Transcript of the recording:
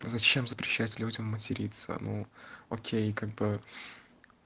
зачем запрещать людям материться ну окей как бы